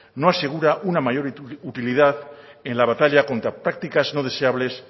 no asegura una mayor utilidad en la batalla contra prácticas no deseables